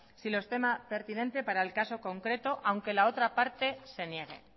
si lo estima pertinente para el caso concreto aunque la otra parte se niegue